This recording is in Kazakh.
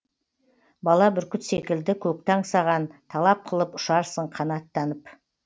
бала бүркіт секілді көкті аңсаған талап қылып ұшарсың қанаттанып